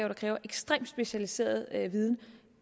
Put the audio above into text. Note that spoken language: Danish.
der kræver ekstremt specialiseret viden